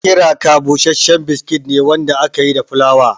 Kiraka bushashshen biskit ne wanda aka yi da fulawa.